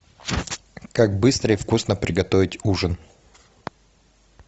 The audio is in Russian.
как быстро и вкусно приготовить ужин